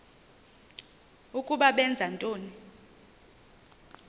ukuba benza ntoni